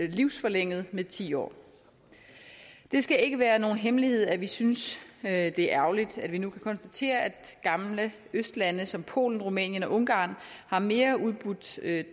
livsforlænget med ti år det skal ikke være nogen hemmelighed at vi synes at det er ærgerligt at vi nu kan konstatere at gamle østlande som polen rumænien og ungarn har mere udbudt